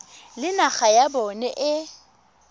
le naga ya bona e